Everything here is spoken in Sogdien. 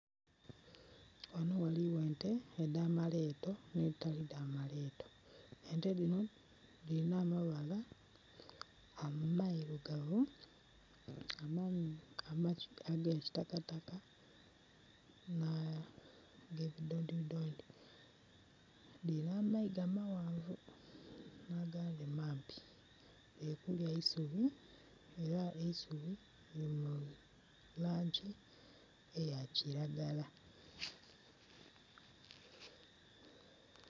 Ghano ghaligho ente edha maleto ne dhitali dha maleto, ente dhino dhirina amabala amairugavu, agakitakataka na ge kidolidoli. Dhirina amaiga maghanvu na gandhi mampi, dhiri kulya eisubi era eisubi lili mu langi eya kilagala.